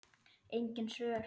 Engin svör.